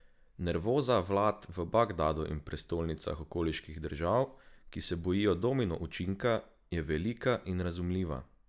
Nervoza vlad v Bagdadu in prestolnicah okoliških držav, ki se bojijo domino učinka, je velika in razumljiva.